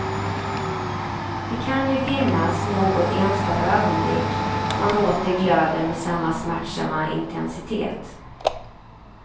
Det kan ju finnas något enstaka ögonblick då han åter glöder med samma smärtsamma intensitet.